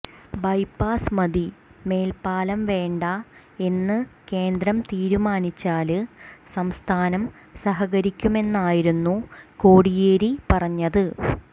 bypass മതി മേല്പ്പാലം വേണ്ട എന്ന് കേന്ദ്രം തീരുമാനിച്ചാല് സംസ്ഥാനം സഹകരിക്കുമെന്നായിരുന്നു കോടിയേരി പറഞ്ഞത്